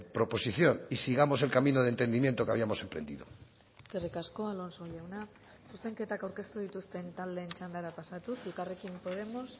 proposición y sigamos el camino de entendimiento que habíamos emprendido eskerrik asko alonso jauna zuzenketak aurkeztu dituzten taldeen txandara pasatuz elkarrekin podemos